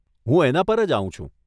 હું એના પર જ આવું છું.